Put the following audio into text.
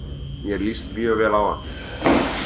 Mér líst mjög vel á hann